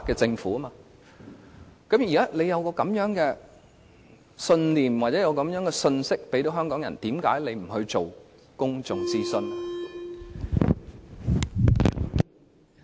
政府現時有這樣的信念或信息傳遞給香港人，那為甚麼政府不願意進行公眾諮詢呢？